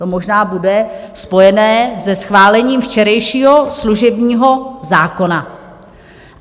To možná bude spojené se schválením včerejšího služebního zákona.